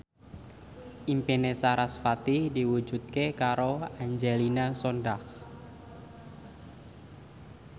impine sarasvati diwujudke karo Angelina Sondakh